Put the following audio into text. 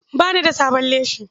Ba ni da da sabon leshi.